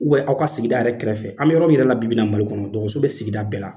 aw ka sigida yɛrɛ kɛrɛfɛ an bɛ yɔrɔ min yɛrɛ la bibi in na MALI kɔnɔ dɔgɔtɔrɔso bɛ sigida bɛɛ la.